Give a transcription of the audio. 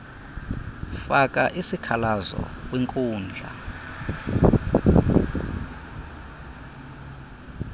faka isikhalazo kwinkundla